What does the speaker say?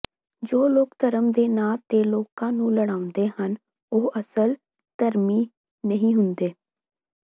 ਜੋ ਲੋਕ ਧਰਮ ਦੇ ਨਾਂ ਤੇ ਲੋਕਾਂ ਨੂੰ ਲੜਾਉਂਦੇ ਹਨ ਉਹ ਅਸਲ ਧਰਮੀ ਨਹੀਂ ਹੁੰਦੇ